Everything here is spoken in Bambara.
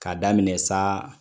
K'a daminɛ sa